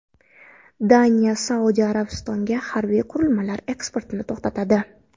Daniya Saudiya Arabistoniga harbiy qurilmalar eksportini to‘xtatadi.